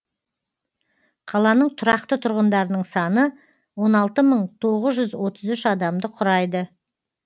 қаланың тұрақты тұрғындарының саны он алты мың тоғыз жүз отыз үш адамды құрайды